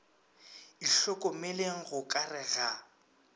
itlhokomeleng go ka re ga